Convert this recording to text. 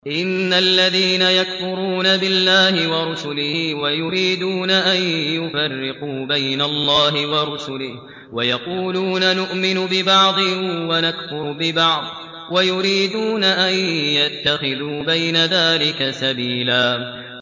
إِنَّ الَّذِينَ يَكْفُرُونَ بِاللَّهِ وَرُسُلِهِ وَيُرِيدُونَ أَن يُفَرِّقُوا بَيْنَ اللَّهِ وَرُسُلِهِ وَيَقُولُونَ نُؤْمِنُ بِبَعْضٍ وَنَكْفُرُ بِبَعْضٍ وَيُرِيدُونَ أَن يَتَّخِذُوا بَيْنَ ذَٰلِكَ سَبِيلًا